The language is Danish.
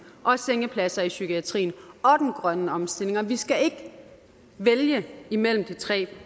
og sengepladser i psykiatrien og den grønne omstilling og vi skal ikke vælge mellem de tre